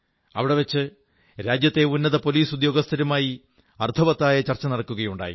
അവിടെ വച്ച് രാജ്യത്തെ ഉന്നത പോലീസ് ഉദ്യാഗസ്ഥരുമായി അർഥവത്തായ ചർച്ച നടക്കുകയുണ്ടായി